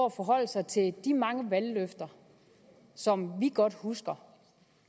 at forholde sig til de mange valgløfter som vi godt husker